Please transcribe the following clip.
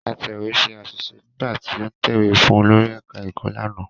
Atẹ̀wé ṣe àṣìṣe nígbà tí ó ń tẹ̀wé fún olórí ẹ̀ká ẹ̀kọ́ lánàá